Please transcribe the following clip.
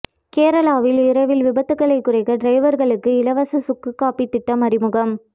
கேரளாவில் இரவில் விபத்துகளை குறைக்க டிரைவர்களுக்கு இலவச சுக்கு காபி திட்டம் அறிமுகம்